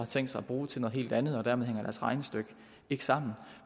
tænkt sig at bruge til noget helt andet og dermed hænger deres regnestykke ikke sammen